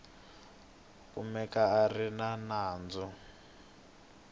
kumeka a ri na nandzu